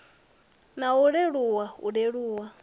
na u leluwa u leluwa